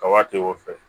Kaba tɛ o fɛ